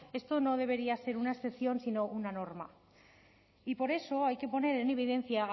esto no debería ser una excepción sino una norma y por eso hay que poner en evidencia